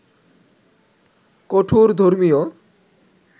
কঠোর ধর্মীয়